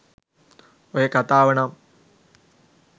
ඔය කතාව නම්